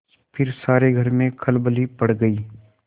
फिर सारे घर में खलबली पड़ गयी